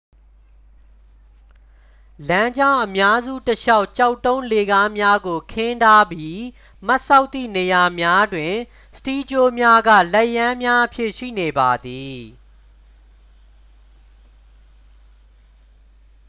"""လမ်းကြောင်း အများစု တစ်လျှောက် ကျောက်တုံးလှေကားများကို ခင်းထားပြီး မတ်စောက်သည့်နေရာများတွင် စတီးကြိုးများက လက်ရန်းများအဖြစ် ရှိနေပါသည်။""